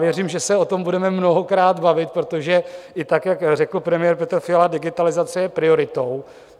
Věřím, že se o tom budeme mnohokrát bavit, protože i tak, jak řekl premiér Petr Fiala, digitalizace je prioritou.